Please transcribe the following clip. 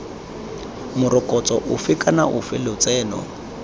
morokotso ofe kana ofe lotseno